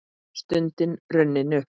Stundin runnin upp!